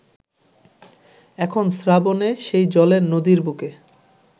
এখন শ্রাবণে সেই জলের নদীর বুকে